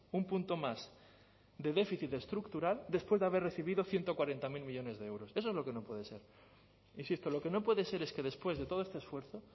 un punto más de déficit estructural después de haber recibido ciento cuarenta mil millónes de euros eso es lo que no pueden ser insisto lo que no puede ser es que después de todo este esfuerzo